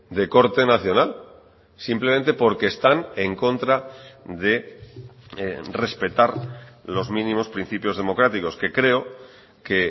de corte nacional simplemente porque están en contra de respetar los mínimos principios democráticos que creo que